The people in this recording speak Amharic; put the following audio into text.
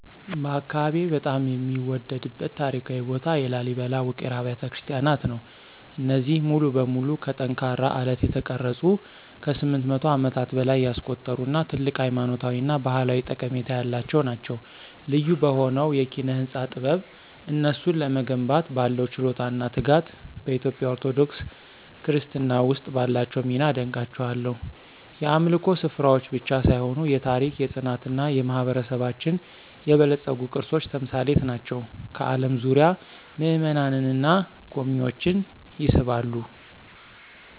በአካባቢዬ በጣም የምወደድበት ታሪካዊ ቦታ የላሊበላ ውቅር አብያተ ክርስቲያናት ነው። እነዚህ ሙሉ በሙሉ ከጠንካራ አለት የተቀረጹት ከ800 ዓመታት በላይ ያስቆጠሩ እና ትልቅ ሃይማኖታዊ እና ባህላዊ ጠቀሜታ ያላቸው ናቸው። ልዩ በሆነው የኪነ-ህንፃ ጥበብ፣ እነሱን ለመገንባት ባለው ችሎታ እና ትጋት፣ በኢትዮጵያ ኦርቶዶክስ ክርስትና ውስጥ ባላቸው ሚና አደንቃቸዋለሁ። የአምልኮ ስፍራዎች ብቻ ሳይሆኑ የታሪክ፣ የፅናት እና የማህበረሰባችን የበለፀጉ ቅርሶች ተምሳሌት ናቸው፣ ከአለም ዙሪያ ምእመናንን እና ጎብኝዎችን ይስባሉ።